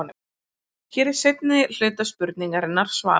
Hér er seinni hluta spurningarinnar svarað.